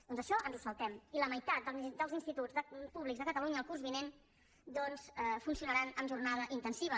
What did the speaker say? doncs això ens ho saltem i la meitat dels instituts públics de catalunya el curs vinent funcionaran amb jornada intensiva